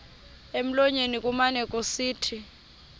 emlonyeni kumane kusithi